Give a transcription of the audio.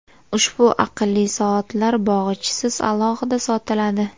Ushbu aqlli soatlar bog‘ichisiz, alohida sotiladi.